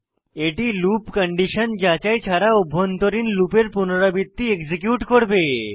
এটি loop condition যাচাই ছাড়া অভ্যন্তরীণ লুপের পুনরাবৃত্তি এক্সিকিউট করবে